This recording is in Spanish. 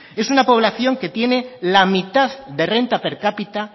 es una población que tiene la mitad de renta per cápita